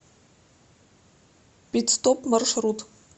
пит стоп маршрут